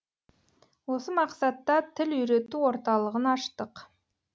осы мақсатта тіл үйрету орталығын аштық